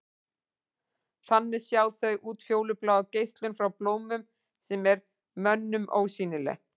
Þannig sjá þau útfjólubláa geislun frá blómum sem er mönnum ósýnileg.